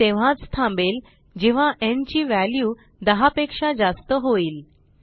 हे तेव्हाच थांबेल जेव्हा न् ची व्हॅल्यू 10 पेक्षा जास्त होईल